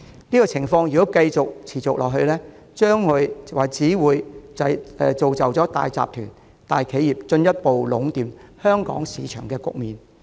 如果情況持續，只會造就大集團、大企業進一步壟斷香港市場的局面。